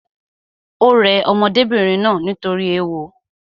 Ò rẹ ọmọdébìnrin náà nítorí ééwo